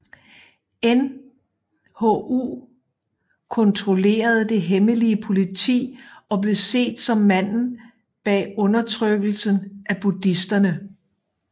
Nhu kontrollerede det hemmelige politi og blev set som manden bag undertrykkelsen af buddhisterne